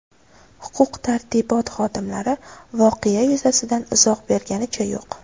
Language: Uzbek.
Huquq-tartibot xodimlari voqea yuzasidan izoh berganicha yo‘q.